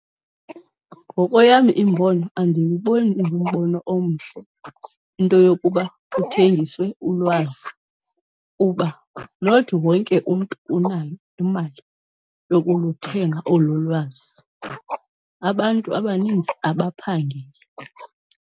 Ngokweyam imbono andiwuboni ingumbono omhle into yokuba kuthengiswe ulwazi, kuba not wonke umntu unayo imali yokuluthenga olu lwazi. Abantu abaninzi abaphangeli.